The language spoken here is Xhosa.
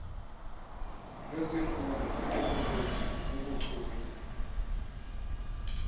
lwesifundo kwiteknoloji bubuchule